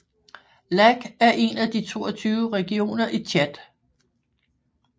Lac er en af de 22 regioner i Tchad